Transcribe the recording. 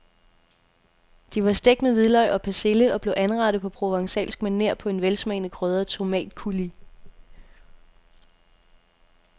De var stegt med hvidløg og persille og blev anrettet på provencalsk maner på en velsmagende krydret tomatcoulis.